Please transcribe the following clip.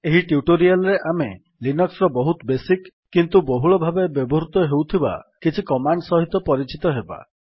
ଏହି ଟ୍ୟୁଟୋରିଆଲ୍ ରେ ଆମେ ଲିନକ୍ସ୍ ର ବହୁତ ବେସିକ୍ କିନ୍ତୁ ବହୂଳ ଭାବେ ବ୍ୟବହୃତ ହେଉଥିବା କିଛି କମାଣ୍ଡ୍ ସହିତ ପରିଚିତ ହେବା